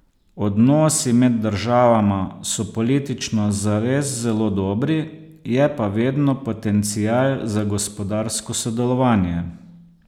Odnosi med državama so politično zares zelo dobri, je pa vedno potencial za gospodarsko sodelovanje.